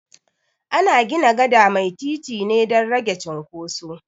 Ana gina gada mai titi ne dan rage cunkoso